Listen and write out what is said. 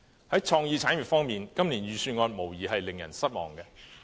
在創意產業方面，今年預算案無疑令人失望。